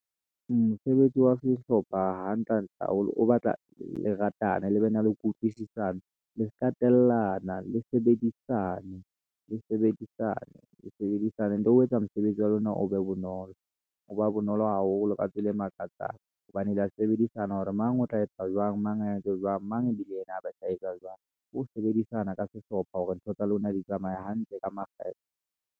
Mosebetsi wa sehlopha hantle-hantle haholo o batla le ratane, le bena le kutlwisisano le ska tellana le sebedisane ntho eo e yetsa mosebetsi wa lona o be bonolo ho ba bonolo haholo ka tsela e makatsang hobane le ya sebedisana hore mang o tla etsa jwang mang a etse jwang mang ibile yena a ba sa etsa jwang. Ke ho sebedisana ka sehlopha hore ntho tsa lona di tsamaye hantle ka makgethe.